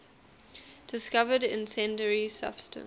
discovered incendiary substance